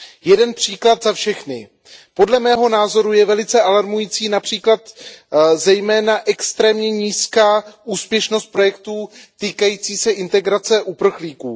Jeden příklad za všechny, podle mého názoru je velice alarmující zejména extrémně nízká úspěšnost projektů týkajících se integrace uprchlíků.